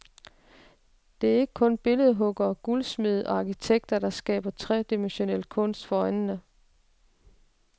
Det er ikke kun billedhuggere, guldsmede og arkitekter, der skaber tredimensionel kunst for øjnene.